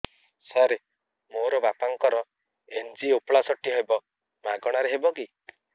ସାର ମୋର ବାପାଙ୍କର ଏନଜିଓପ୍ଳାସଟି ହେବ ମାଗଣା ରେ ହେବ କି